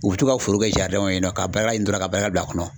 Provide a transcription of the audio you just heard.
U bɛ to ka foro kɛ ka baarakɛla ɲini dɔrɔn ka baarakɛla bila a kɔnɔ.